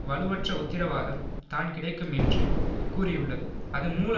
வலுவற்ற உத்திரவாதம் தான் கிடைக்கும் என்று கூறியுள்ளது அது மூல